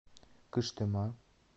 кыштыма